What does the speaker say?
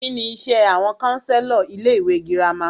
Kínní iṣé àwọn counselor ilé ìwé gírámà?